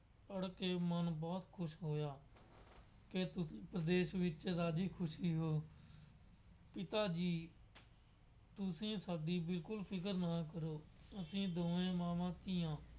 ਪੜ੍ਹ ਕੇ ਮਨ ਬਹੁਤ ਖੁਸ਼ ਹੋਇਆ। ਇਸ ਉਪਦੇਸ਼ ਵਿੱਚ ਰਾਜ਼ੀ ਖੁਸ਼ੀ ਹੋ। ਪਿਤਾ ਜੀ ਤੁਸੀਂ ਸਾਡੀ ਬਿਲਕੁੱਲ ਫਿਕਰ ਨਾ ਕਰੋ। ਅਸੀਂ ਦੋਵੇਂ ਮਾਵਾਂ ਧੀਆਂ